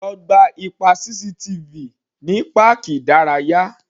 Lo gba ipa CCTV ní páàkì ìdárayá.